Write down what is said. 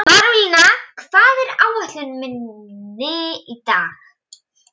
Marólína, hvað er á áætluninni minni í dag?